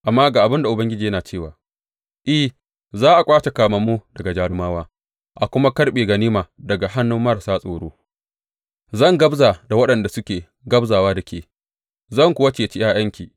Amma ga abin da Ubangiji yana cewa, I, za a ƙwace kamammu daga jarumawa, a kuma karɓe ganima daga hannun marasa tsoro; zan gwabza da waɗanda suke gwabzawa da ke, zan kuwa ceci ’ya’yanki.